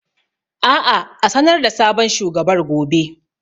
Aa a sanar da sabon shugabar gobe